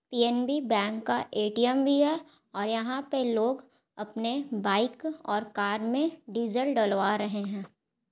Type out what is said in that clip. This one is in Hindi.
पी_एन_बी बैंक का ए_टी_एम भी है और यहाँ पे लोग अपने बाइक और कार मे डीजल डलवा रहे है ।